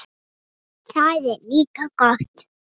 Það er líka gott.